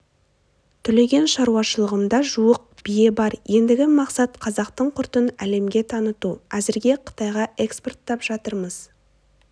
түлеген шаруашылығымда жуық бие бар ендігі мақсат қазақтың құртын әлемге таныту әзірге қытайға экспорттап жатырмыз